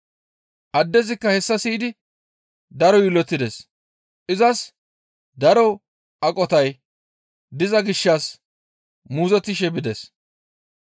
Addezikka hessa siyidi daro yiillotides; izas daro aqotay diza gishshas muuzottishe bides.